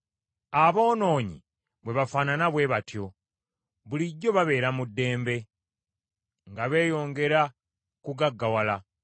Aboonoonyi bwe bafaanana bwe batyo; bulijjo babeera mu ddembe, nga beeyongera kugaggawala.